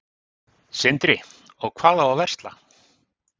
Sindri: Og hvað á að versla?